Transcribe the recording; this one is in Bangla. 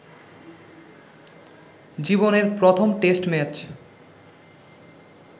জীবনের প্রথম টেষ্ট ম্যাচ